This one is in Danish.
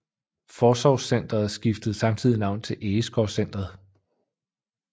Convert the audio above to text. Forsorgscentret skiftede samtidig navn til Egeskovcentret